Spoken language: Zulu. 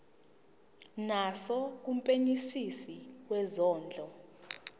naso kumphenyisisi wezondlo